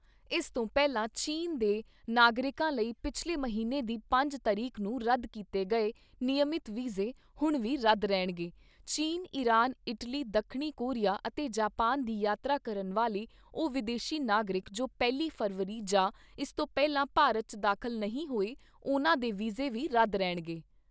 ਇਸ ਤੋਂ ਪਹਿਲਾਂ ਚੀਨ ਦੇ ਨਾਗਰਿਕਾਂ ਲਈ ਪਿਛਲੇ ਮਹੀਨੇ ਦੀ ਪੰਜ ਤਰੀਕ ਨੂੰ ਰੱਦ ਕੀਤੇ ਗਏ ਨਿਯਮਿਤ ਵੀਜ਼ੇ, ਹੁਣ ਵੀ ਰੱਦ ਰਹਿਣਗੇ ਚੀਨ, ਈਰਾਨ, ਇਟਲੀ, ਦੱਖਣੀ ਕੋਰੀਆ ਅਤੇ ਜਾਪਾਨ ਦੀ ਯਾਤਰਾ ਕਰਨ ਵਾਲੇ ਉਹ ਵਿਦੇਸ਼ੀ ਨਾਗਰਿਕ ਜੋ ਪਹਿਲੀ ਫ਼ਰਵਰੀ ਜਾਂ ਇਸ ਤੋਂ ਪਹਿਲਾਂ ਭਾਰਤ 'ਚ ਦਾਖ਼ਲ ਨਹੀਂ ਹੋਏ, ਉਨ੍ਹਾਂ ਦੇ ਵੀਜ਼ੇ ਵੀ ਰੱਦ ਰਹਿਣਗੇ।